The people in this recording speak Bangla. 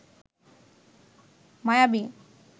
মায়াবী